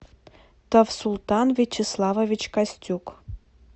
тавсултан вячеславович костюк